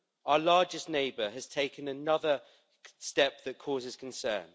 Our largest neighbour has taken another step that causes concern.